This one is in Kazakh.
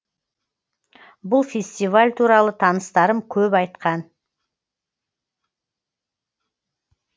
бұл фестиваль туралы таныстарым көп айтқан